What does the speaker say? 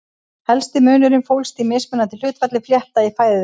Helsti munurinn fólst í mismunandi hlutfalli flétta í fæðu þeirra.